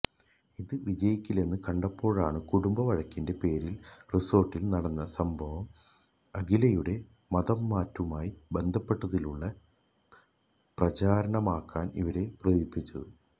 ഇത് വിജയിക്കില്ലെന്ന് കണ്ടപ്പോഴാണ് കുടുംബ വഴക്കിന്റെ പേരില് റിസോര്ട്ടില് നടന്ന സംഭവം അഖിലയുടെ മതംമാറ്റവുമായി ബന്ധപ്പെടുത്തിയുള്ള പ്രചാരണമാക്കാന് ഇവരെ പ്രേരിപ്പിച്ചത്